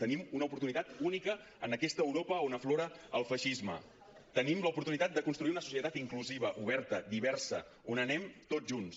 tenim una oportunitat única en aquesta europa on aflora el feixisme tenim l’oportunitat de construir una societat inclusiva oberta diversa on anem tots junts